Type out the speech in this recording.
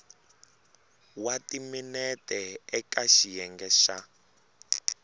wa timinete eka xiyenge xa